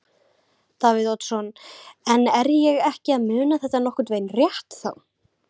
Davíð Oddsson: En er ég ekki að muna þetta nokkurn veginn rétt þá?